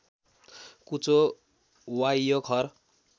कुचो वावियो खर